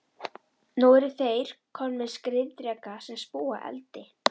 Nú eru þeir komnir með skriðdreka sem spúa eldi!